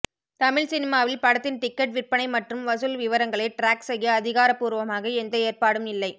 தமிழ் சினிமாவில் படத்தின் டிக்கெட் விற்பனை மற்றும் வசூல் விவரங்களை ட்ராக் செய்ய அதிகாரபூர்வமாக எந்த ஏற்பாடும் இல்லை